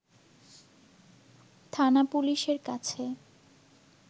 থানা পুলিশের কাছে